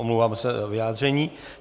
Omlouvám se za vyjádření.